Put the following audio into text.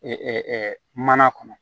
mana kɔnɔ